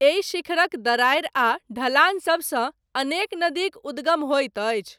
एहि शिखरक दरारि आ ढलान सबसँ, अनेक नदीक उद्गम होइत अछि।